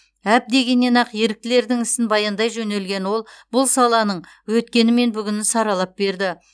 әп дегеннен ақ еріктілердің ісін баяндай жөнелген ол бұл саланың өткені мен бүгінін саралап берді